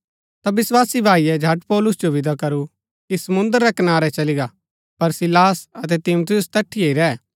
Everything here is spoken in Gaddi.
ता विस्वासी भाईये झट पौलुस जो विदा करू कि समुंद्र रै कनारै चली गा पर सीलास अतै तीमुथियुस तैठिये ही रैह